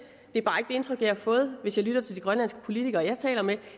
indtryk jeg har fået hvis jeg lytter til de grønlandske politikere jeg taler med